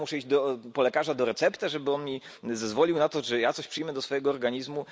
I nagle muszę iść do lekarza po receptę, żeby on mi zezwolił na to, bym coś przyjął do swojego organizmu.